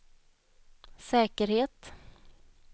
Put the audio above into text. säkerhet